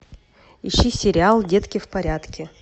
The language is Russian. ищи сериал детки в порядке